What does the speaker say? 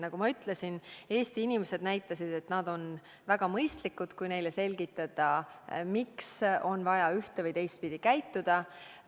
Nagu ma ütlesin, Eesti inimesed näitasid, et nad on väga mõistlikud, kui neile selgitada, miks on vaja käituda ühte- või teistpidi.